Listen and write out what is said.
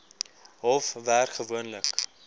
hof werk gewoonlik